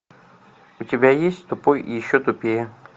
у тебя есть тупой и еще тупее